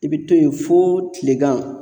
I bɛ to yen fo tilegan